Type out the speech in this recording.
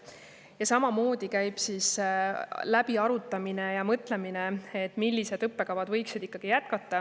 Ja samamoodi käib läbiarutamine ja mõtlemine, millised õppekavad võiksid ikkagi jätkata.